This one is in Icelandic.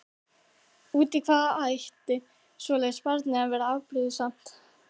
Út í hvað ætti svoleiðis barn að vera afbrýðisamt?